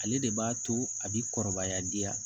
Ale de b'a to a bɛ kɔrɔbaya bi